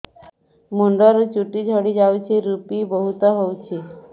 ମୁଣ୍ଡରୁ ଚୁଟି ଝଡି ଯାଉଛି ଋପି ବହୁତ ହେଉଛି